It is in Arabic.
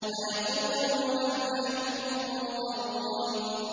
فَيَقُولُوا هَلْ نَحْنُ مُنظَرُونَ